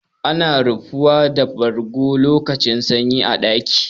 Ana rufuwa da bargo lokacin sanyi a ɗaki.